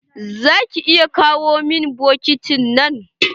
Za ki iya kawo min bokitin nan?